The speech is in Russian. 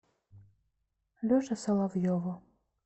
леше соловьеву